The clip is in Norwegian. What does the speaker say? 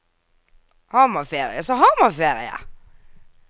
Har man ferie, så har man ferie.